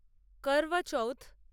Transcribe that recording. কর্বাচউথ